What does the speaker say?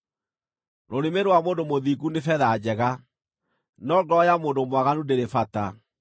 Rũrĩmĩ rwa mũndũ mũthingu nĩ betha njega, no ngoro ya mũndũ mwaganu ndĩrĩ bata.